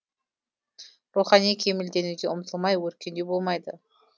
рухани кемелденуге ұмтылмай өркендеу болмайды